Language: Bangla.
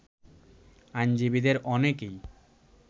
আইনজীবীদের অনেকেই